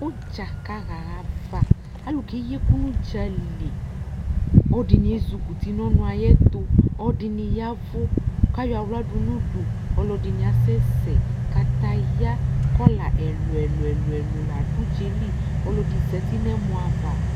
ʋdza kahaava kalʋ keyiɛkʋ nʋdzali ɔdini ezikuti nɔnʋɛtʋ ɔdiniyavu kayɔ aɣla dunudu ɔlʋɛdini asɛsɛɛ kataya kola ɛlʋɛlʋ ladʋdzaeli ɔlʋɛdini zati nɛmɔava